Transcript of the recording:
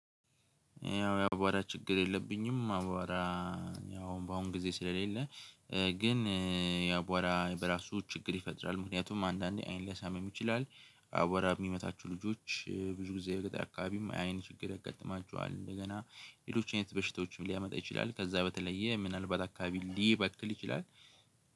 ያው የአቧራ ችግር የለብኝም። አቧራ ያው በአሁን ጊዜ ስለሌለ። ግን የአቧራ በራሱ ችግር ይፈጥራል ምክንያቱም አንዳንዴ አይን ሊያሳምም ይችላል። አቧራ የሚመታችሁ ልጆች ብዙ ጊዜ የገጠር አካባቢም አይን ችግር ያጋጥማችኋል እንደገና ሌሎች አይነት በሽታዎችም ሊያመጣ ይችላል። ከዛ በተለየ ምናልባት አካባቢ ሊበክል ይችላል